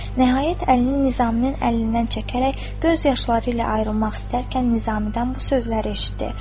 Nəhayət əlini Nizaminn əlindən çəkərək, göz yaşları ilə ayrılmaq istərkən Nizamidən bu sözləri eşitdi.